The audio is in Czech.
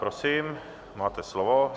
Prosím, máte slovo.